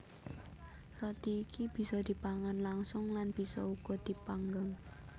Roti iki bisa dipangan langsung lan bisa uga dipanggang